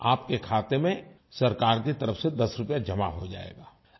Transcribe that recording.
आपके खाते में सरकार की तरफ से 10 रुपये जमा हो जायेगा